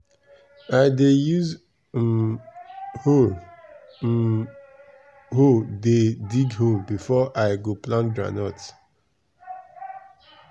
i dey use um hoe um hoe dey dig hole before i go plant groundnut.